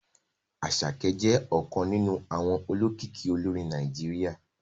Àṣàkẹ́ jẹ́ ọ̀kan nínú àwọn olókìkí olórin Nàìjíríà